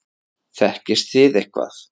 Þekkist þið eitthvað?